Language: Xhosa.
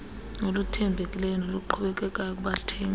oluthembekileyo noluqhubekekayo kubathengi